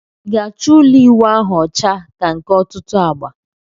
I ga acho ulo iwu ahu ocha ka nke otutu agba?